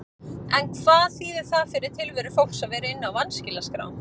En hvað þýðir það fyrir tilveru fólks að vera inni á vanskilaskrá?